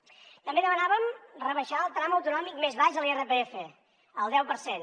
també demanàvem rebaixar el tram autonòmic més baix de l’irpf al deu per cent